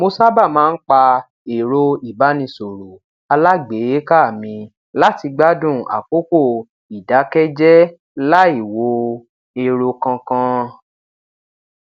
mo sábà máa ń pa ero ibanisoro alágbèéká mi lati gbádùn àkókò ìdákẹ jẹ lai wo ero kankan